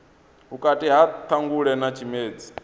vhukati ha ṱhangule na tshimedzi